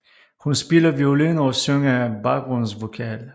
Hun spiller violin og synger baggrundsvokal